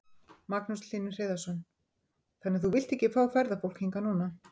Magnús Hlynur Hreiðarsson: Þannig að þú vilt ekki fá ferðafólk hingað núna?